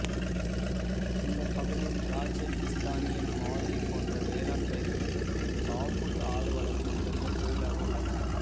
இந்தப் பகுதியில் திராட்சை பிஸ்தானியன் மாதுளை போன்ற வேளாண் பயிர்களும் காபூல் ஆடு வளர்ப்பும் முதன்மைத் தொழிலாக உள்ளன